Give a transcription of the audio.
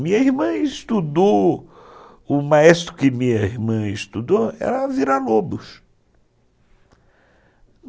Minha irmã estudou... O maestro que minha irmã estudou era Vila Lobos.